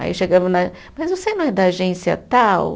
Aí eu chegava na. Mas você não é da agência tal?